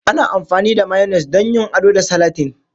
Ana amfani da Mayones don yin ado da salatin.